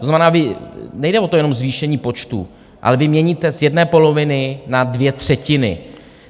To znamená, nejde jenom o to zvýšení počtu, ale vy měníte z jedné poloviny na dvě třetiny.